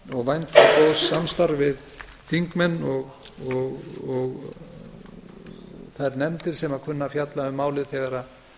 og vænti góðs samstarfs við þingmenn og þær nefndir sem kunna að fjalla um málið þegar